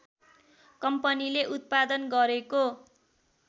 कम्पनीले उत्पादन गरेको